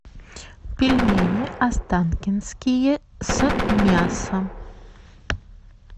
пельмени останкинские с мясом